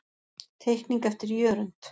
Teikning eftir Jörund.